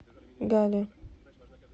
галле